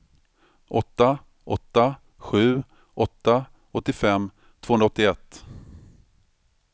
åtta åtta sju åtta åttiofem tvåhundraåttioett